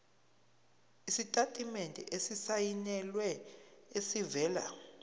isitatimende esisayinelwe esivela